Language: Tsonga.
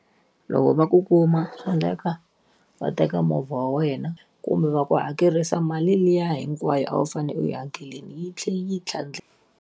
Loko va ku kuma swa endleka, va teka movha wa wena kumbe va ku hakerisa mali liya hinkwayo a wu fanele u yi hakerile yi tlhela yi .